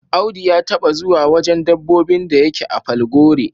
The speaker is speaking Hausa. Audu ya taba zuwa wajen dabbobin da yake a Falgore.